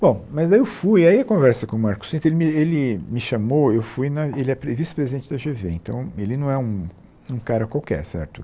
Bom, mas aí eu fui, aí a conversa com o Marcos Cintra, ele me ele me chamou, eu fui na, ele é pre vice-presidente da Gê Vê, então ele não é um um cara qualquer, certo?